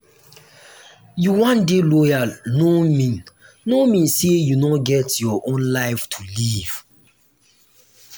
you wan dey loyal no mean no mean sey you no get your own life to live.